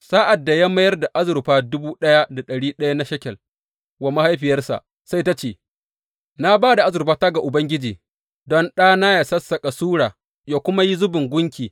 Sa’ad da ya mayar da azurfa dubu ɗaya da ɗari ɗaya na shekel wa mahaifiyarsa, sai ta ce, Na ba da azurfata ga Ubangiji don ɗana yă sassaƙa sura yă kuma yi zubin gunki.